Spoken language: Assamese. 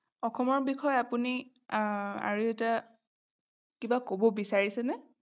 অসমৰ বিষয়ে আপুনি এৰ আৰু এটা কিবা কব বিচাৰিছেনে?